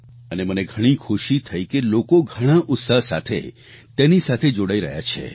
અને મને ઘણી ખુશી થઈ કે લોકો ઘણાં ઉત્સાહ સાથે તેની સાથે જોડાઈ રહ્યા છે